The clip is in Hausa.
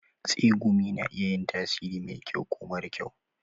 Tsegumi na iya yin tasiri mai kyau ko mara kyau.